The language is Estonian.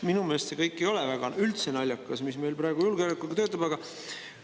Minu meelest ei ole aga üldse naljakas see kõik, mis meil praegu julgeolekuga.